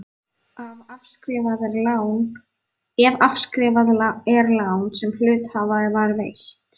ef afskrifað er lán sem hluthafa var veitt.